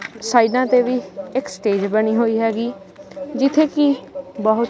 ਸਾਈਡਾਂ ਤੇ ਵੀ ਇਕ ਸਟੇਜ ਬਣੀ ਹੋਈ ਹੈਗੀ ਜਿੱਥੇ ਕੀ ਬਹੁਤ--